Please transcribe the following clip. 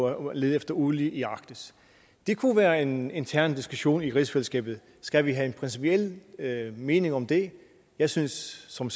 at lede efter olie i arktis det kunne være en intern diskussion i rigsfællesskabet skal vi have en principiel mening om det jeg synes som